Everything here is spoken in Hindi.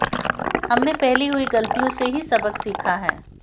हमने पहले हुई गलतियों से ही सबक सीखा है